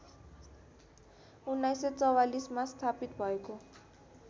१९४४मा स्थापित भएको